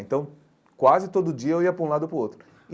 Então, quase todo dia eu ia para um lado ou para o outro.